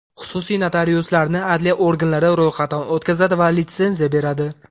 Xususiy notariuslarni adliya organlari ro‘yxatdan o‘tkazadi va litsenziya beradi.